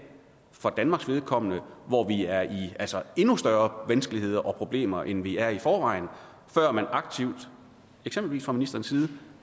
for danmarks vedkommende hvor vi er i endnu større vanskeligheder og problemer end vi er i forvejen før man aktivt eksempelvis fra ministerens side